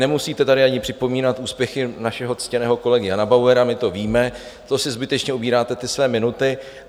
Nemusíte tady ani připomínat úspěchy našeho ctěného kolegy Jana Bauera, my to víme, to si zbytečně ubíráte ty své minuty.